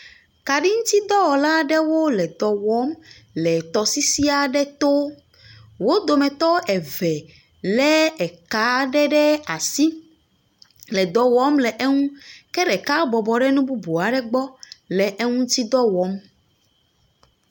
Kaɖiŋutidɔwɔlawo le dɔ wɔm le tɔsisi aɖe to. Wo domete eve lé ka aɖe ɖe asi le dɔ wɔm le eŋu ke ɖeka bɔɔbɔ ɖe nu bubu aɖe gbɔ le eŋuti dɔ wɔm.